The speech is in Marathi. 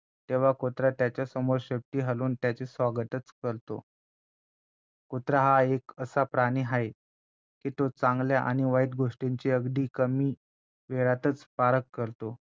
तेव्हा कुत्रा त्याच्यासमोर शेपटी हलवून त्याचे स्वागतचं करतोकुत्रा हा एक असा प्राणी आहे की तो चांगल्या आणि वाईट गोष्टींची अगदी कमी वेळातचं पारख करतो